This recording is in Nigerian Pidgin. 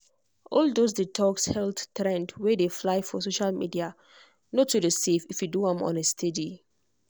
all those detox health trend wey dey fly for social media no too dey safe if you do am on a steady.